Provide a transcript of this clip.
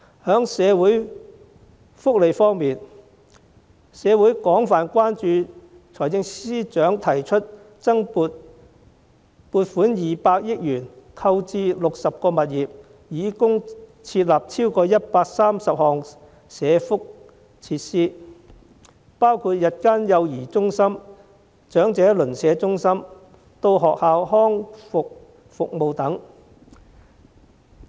在社會福利方面，社會廣泛關注財政司司長提出撥款200億元，購置60個物業，以供設立超過130項社福設施，包括日間幼兒中心、長者鄰舍中心、到校學前康復服務等。